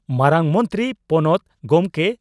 ᱢᱟᱨᱟᱝ ᱢᱚᱱᱛᱨᱤ ᱯᱚᱱᱚᱛ ᱜᱚᱢᱠᱮ